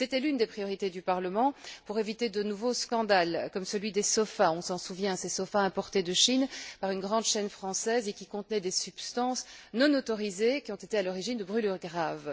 C'était l'une des priorités du Parlement pour éviter de nouveaux scandales comme celui des sofas, dont on se souvient, ces sofas importés de Chine par une grande chaîne française, qui contenaient des substances non autorisées, et ont été à l'origine de brûlures graves.